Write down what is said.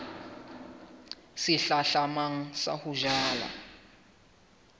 se hlahlamang sa ho jala